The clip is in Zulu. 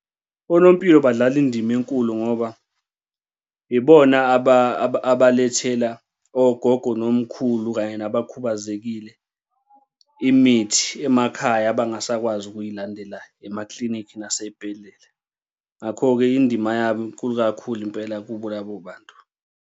Onompilo badlala indima enkulu ngoba ibona abalethela ogogo nomkhulu kanye nabakhubazekile imithi emakhaya abangasakwazi ukuyilandela emaklinikhi nasey'bhedlela. Ngakho-ke indima yabo inkulu kakhulu impela kubo labo bantu.